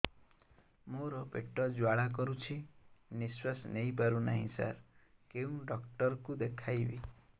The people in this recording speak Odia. ମୋର ପେଟ ଜ୍ୱାଳା କରୁଛି ନିଶ୍ୱାସ ନେଇ ପାରୁନାହିଁ ସାର କେଉଁ ଡକ୍ଟର କୁ ଦେଖାଇବି